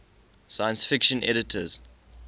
science fiction editors